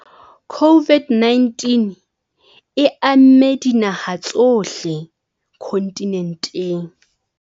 COVID-19 e amme dinaha tsohle kontinenteng.